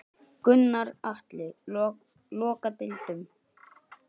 Gunnar Atli: Loka deildum?